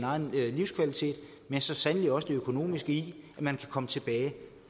egen livskvalitet men så sandelig også det økonomiske i at man kan komme tilbage